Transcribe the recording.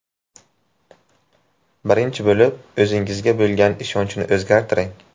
Birinchi bo‘lib o‘zingizga bo‘lgan ishonchni o‘zgartiring.